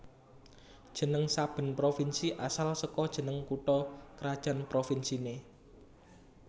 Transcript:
Jeneng saben provinsi asal saka jeneng kutha krajan provinsiné